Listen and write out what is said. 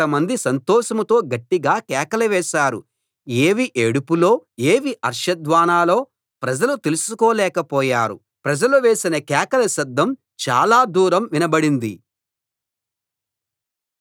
ఏవి ఏడుపులో ఏవి హర్ష ధ్వానాలో ప్రజలు తెలుసుకోలేక పోయారు ప్రజలు వేసిన కేకల శబ్దం చాలా దూరం వినబడింది